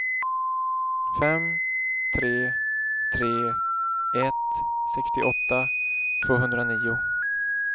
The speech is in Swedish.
fem tre tre ett sextioåtta tvåhundranio